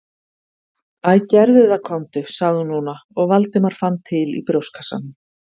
Æ, gerðu það komdu- sagði hún núna og Valdimar fann til í brjóstkassanum.